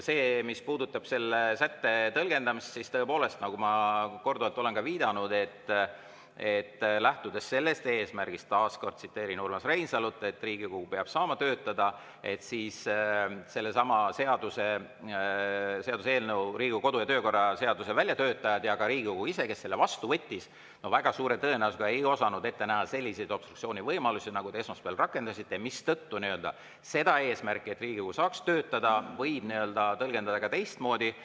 Mis puudutab selle sätte tõlgendamist, siis nagu ma olen korduvalt viidanud, lähtudes sellest eesmärgist – taas kord tsiteerin Urmas Reinsalut –, et Riigikogu peab saama töötada, siis Riigikogu kodu‑ ja töökorra seaduse väljatöötajad ja ka Riigikogu ise, kes selle vastu võttis, väga suure tõenäosusega ei osanud ette näha selliseid obstruktsioonivõimalusi, nagu te esmaspäeval rakendasite, mistõttu seda eesmärki, et Riigikogu saaks töötada, võib tõlgendada ka teistmoodi.